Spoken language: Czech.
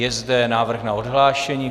Je zde návrh na odhlášení.